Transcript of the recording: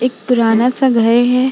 एक पुराना सा घर है।